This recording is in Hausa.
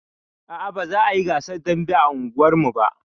Aa, ba za a yi gasar dambe a unguwarmu ba